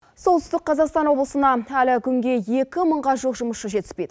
солтүстік қазақстан облысына әлі күнге екі мыңға жуық жұмысшы жетіспейді